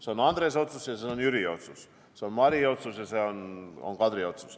See on Andrese otsus ja see on Jüri otsus, see on Mari otsus ja see on Kadri otsus.